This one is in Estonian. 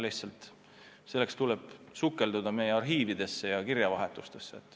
Lihtsalt selleks tuleb sukelduda meie arhiividesse ja kirjavahetusse.